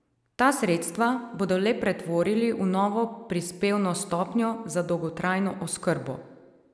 Ta sredstva bodo le pretvorili v novo prispevno stopnjo za dolgotrajno oskrbo.